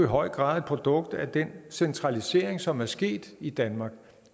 høj grad et produkt af den centralisering som er sket i danmark